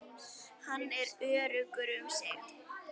Hann er öruggur um sigur.